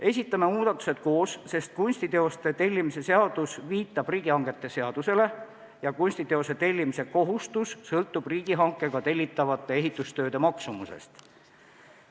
Esitame muudatused koos, sest kunstiteoste tellimise seadus viitab riigihangete seadusele ja kunstiteose tellimise kohustus sõltub riigihankega tellitavate ehitustööde maksumusest.